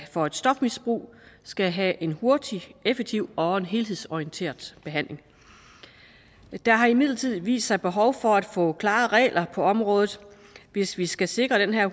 for et stofmisbrug skal have en hurtig effektiv og en helhedsorienteret behandling der har imidlertid vist sig et behov for at få klare regler på området hvis vi skal sikre den her